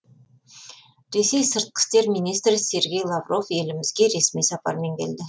ресей сыртқы істер министрі сергей лавров елімізге ресми сапармен келді